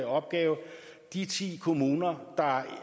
opgave de ti kommuner der